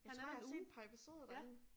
Jeg tror jeg har set et par episoder derinde